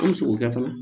An mi se k'o kɛ fana